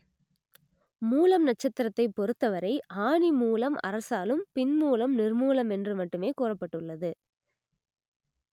மூலம் நட்சத்திரத்தைப் பொறுத்தவரை ஆனி மூலம் அரசாளும் பின் மூலம் நிர்மூலம் என்று மட்டுமே கூறப்பட்டுள்ளது